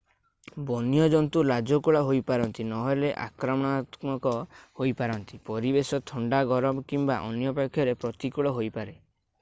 ବନ୍ୟ ଜନ୍ତୁ ଲାଜକୁଳା ହୋଇପାରନ୍ତି ନହେଲେ ଆକ୍ରମଣାତ୍ମକ ହୋଇପାରନ୍ତି ପରିବେଶ ଥଣ୍ଡା ଗରମ କିମ୍ବା ଅନ୍ୟପକ୍ଷରେ ପ୍ରତିକୂଳ ହୋଇପାରେ